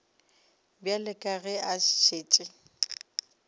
bjale ka ge a šetše